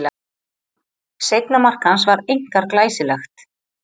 Seinna mark hans var einkar glæsilegt.